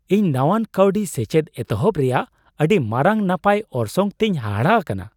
ᱤᱧ ᱱᱟᱶᱟᱱ ᱠᱟᱹᱣᱰᱤ ᱥᱮᱪᱮᱫ ᱮᱛᱚᱦᱚᱵ ᱨᱮᱭᱟᱜ ᱟᱹᱰᱤ ᱢᱟᱨᱟᱝ ᱱᱟᱯᱟᱭ ᱚᱨᱥᱚᱝ ᱛᱮᱧ ᱦᱟᱦᱟᱲᱟ ᱟᱠᱟᱱᱟ ᱾